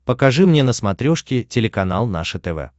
покажи мне на смотрешке телеканал наше тв